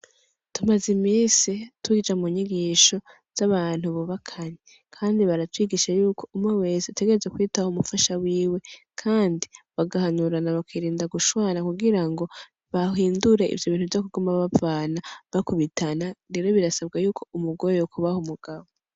Tumaz' iminsi tuja munyigisho z'abantu bubakanye ,kandi baracigisha yuko umwe wese ategerezwa kwitaho umufasha wiwe ,kandi bagahanurana bakirinda gushwana kugirango bahindure ivyo bintu vyo kuguma bavana ,bakubitana rero birasabwa yuko umugore yokubaha umugabo.